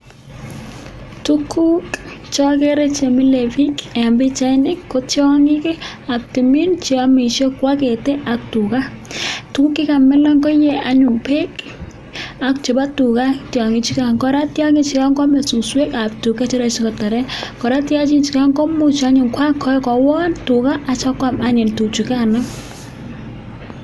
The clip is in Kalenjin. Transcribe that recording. Tuguk cheagere chemile bik en bichait niton ko tiangik ab tumin cheyamishe kwagete ak tuga tuguk chekamilan koyee anyun ko bek ak chebo tuga tiangik chuton koraa tiangik chuton koraa Kwame suswek ab tuga sikotaren tiangik chuton koraa komuch kokon tuga sikomuch konyokwam tuga koraa